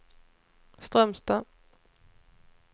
Strömstad